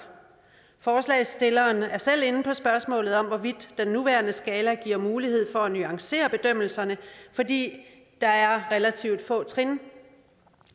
forslagsstillerne er selv inde på spørgsmålet om hvorvidt den nuværende skala giver mulighed for at nuancere bedømmelserne fordi der er relativt få trin